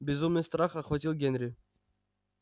безумный страх охватил генри